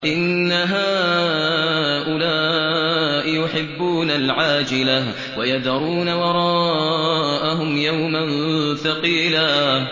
إِنَّ هَٰؤُلَاءِ يُحِبُّونَ الْعَاجِلَةَ وَيَذَرُونَ وَرَاءَهُمْ يَوْمًا ثَقِيلًا